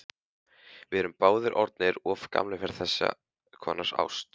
Við erum báðir orðnir of gamlir fyrir þess konar ást.